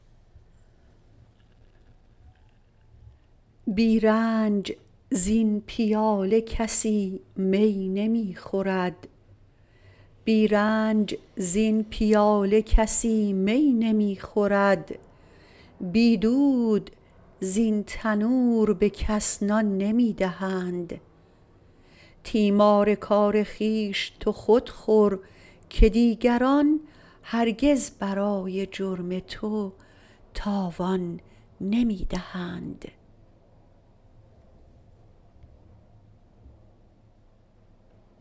بی رنج زین پیاله کسی می نمی خورد بی دود زین تنور به کس نان نمی دهند تیمار کار خویش تو خود خور که دیگران هرگز برای جرم تو تاوان نمی دهند